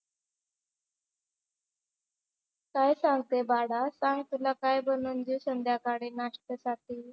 काय सांगते बाळा? सांग तुला काय बनवून देऊ संध्याकाळी नाश्त्यासाठी?